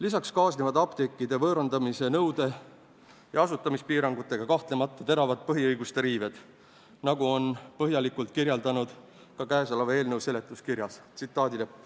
Lisaks kaasnevad apteekide võõrandamise nõude ja asutamispiirangutega kahtlemata teravad põhiõiguste riived, nagu on põhjalikult kirjeldatud ka käesoleva eelnõu seletuskirjas.